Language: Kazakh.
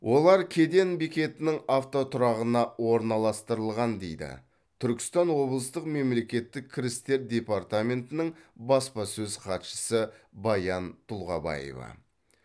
олар кеден бекетінің автотұрағына орналастырылған дейді түркістан облыстық мемлекеттік кірістер департаментінің баспасөз хатшысы баян тұлғабаева